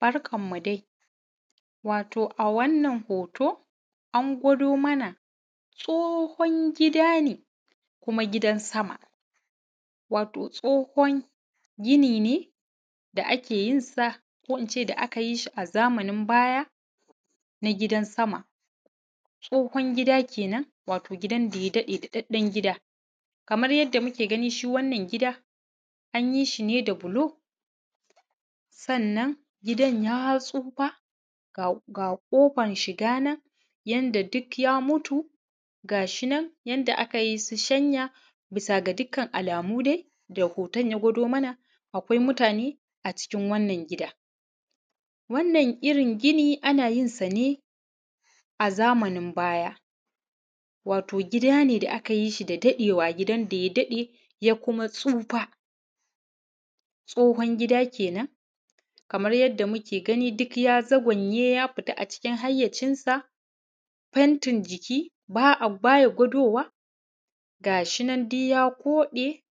Barka mu dai wato a wanna hoto an gwado mana wato tsohon gida ne kuma gidan sama. Wato tsohon gini ne da’ake yinsa ko ince da’aka yishi a zamanin baya na gidan sama. Tsohon gida kenan wato gidan da ya daɗe daɗaɗɗen gida. Kamar yadda muke gani shi wannan gida an yishi ne da bulo sannan gidan ya tsufa ga kofan shiganan yanda duk ya mutu ga shinan yanda akayi shanya bisa ga dukkan dai da hoton ya gwado mana akwai mutane a cikin wannan gida. Wannan irringini ana yinsa ne a zamanin baya, wato gida ne da aka yishi da daɗewa gida daya daɗe ya kuma tsufa tsohon gida kenan, kamar yadda muke gani duk ya zagwanye ya fita a cikin hayyacin sa fentin jiki baya gwadowa, ga shinan duyya koɗe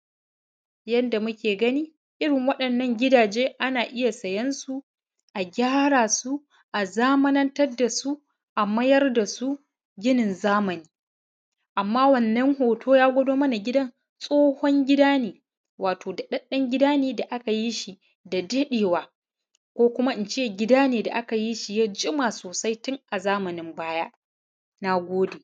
yadda muke gani irrin wadannan gidaje ana iyya siyan su a gyara su, a zamanantar dasu a mayar dasu ginin zamani. Amma wannan hoto ya gwado mana gidan tsohon gida ne wato da ɗaɗɗen gida ne da’aka yishi da, da ɗewa ko kuma ince gida ne da’aka yishi ya jima sosai tun a zamanin baya. Nagode